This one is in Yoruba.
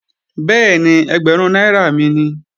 Bẹ́ẹ̀ni, ẹgbẹ̀rún náírà mi nìí